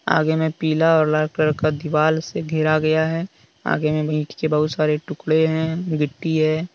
आगे में पीला और लाल कलर का दीवाल से घेरा गया है आगे मे भी इट के बहुत सारे टुकड़े है गिट्टी है।